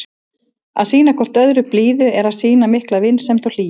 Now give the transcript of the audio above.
Að sýna hvort öðru blíðu er að sýna mikla vinsemd og hlýju.